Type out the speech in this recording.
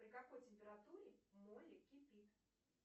при какой температуре молли кипит